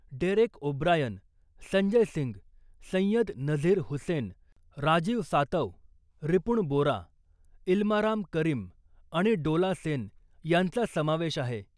Derek O'Brien , Sanjay Singh , Syed Nazir Hussain , Rajiv Satav , Ripun Bora , Elamaram Kareem आणि डोला सेन यांचा समावेश आहे .